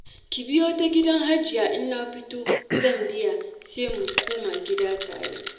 Ki biyo ta gidan Hajiya in na fito zan biya, sai mu koma gida tare.